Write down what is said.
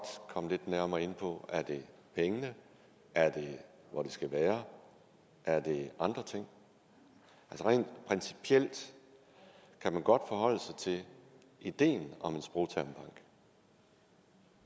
komme lidt nærmere ind på er det pengene er det hvor det skal være er det andre ting rent principielt kan man godt forholde sig til ideen om en sprogtermbank